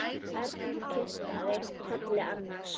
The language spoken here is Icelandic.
Örn kinkaði kolli annars hugar.